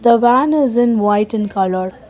The van is in white in colour.